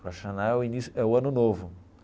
O Rosh Hashanah é o início é o ano novo.